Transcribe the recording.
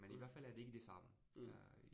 Mh. Mh